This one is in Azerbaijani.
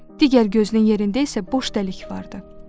Digər gözünün yerində isə boş dəlik vardı.